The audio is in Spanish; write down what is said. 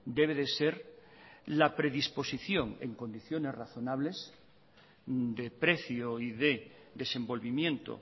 debe de ser la predisposición en condiciones razonables de precio y de desenvolvimiento